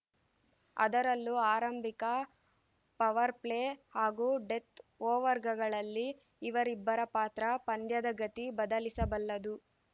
ಅದರಲ್ಲೂ ಆರಂಭಿಕ ಪವರ್‌ಪ್ಲೇ ಹಾಗೂ ಡೆತ್‌ ಓವರ್‌ಗಳಲ್ಲಿ ಇವರಿಬ್ಬರ ಪಾತ್ರ ಪಂದ್ಯದ ಗತಿ ಬದಲಿಸಬಲ್ಲದು